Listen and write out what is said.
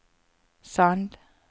Sand